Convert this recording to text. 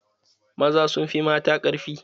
Maza sun fi mata ƙarfi.